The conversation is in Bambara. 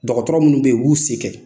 Dɔgɔtɔrɔ munnu bɛ yen u bu sen kɛ